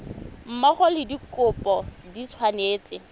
mmogo le dikopo di tshwanetse